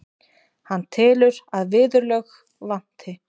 Hann telur að viðurlög vanti.